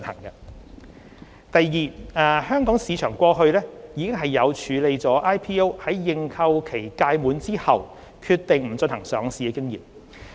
二香港市場過去已有處理 IPO 在認購期屆滿後決定不進行上市的經驗。